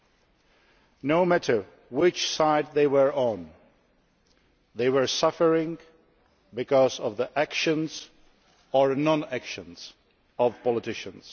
Irrespective of which side they were on, they were suffering because of the actions or non actions of politicians.